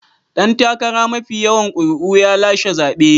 Dan takara mafi yawan ƙuri'u ya lashe zabe.